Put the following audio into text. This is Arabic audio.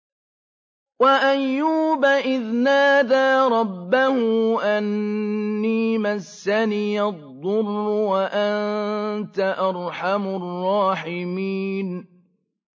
۞ وَأَيُّوبَ إِذْ نَادَىٰ رَبَّهُ أَنِّي مَسَّنِيَ الضُّرُّ وَأَنتَ أَرْحَمُ الرَّاحِمِينَ